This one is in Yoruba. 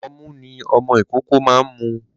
Ọmu ni ọmọ ìkókó ma ń mu.